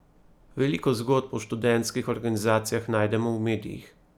Veliko zgodb o študentskih organizacijah najdemo v medijih.